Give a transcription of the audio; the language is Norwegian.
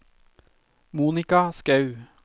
Monica Skaug